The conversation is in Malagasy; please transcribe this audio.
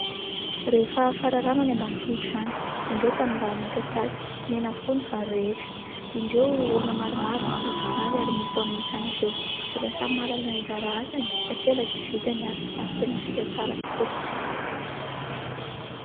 Rehefa fararano any ambanivohitra any. Indreo tanimbary midadasika, mena avokoa ny vary rehetra, indreo olona maromaro mandidy vary ary mitaona izany avy eo. Efa samy mahalala ny anjara asany ka tsy ela dia vita ny asa ary tena vita tsara tokoa.